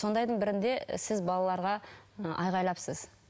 сондайдың бірінде сіз балаларға і айғайлапсыз